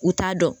U t'a dɔn